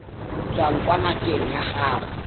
tswang kwa ngakeng ya gago